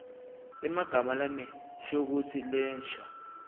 emagama lanenshokutsi lensha